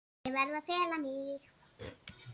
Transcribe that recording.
Ég verð að fela mig.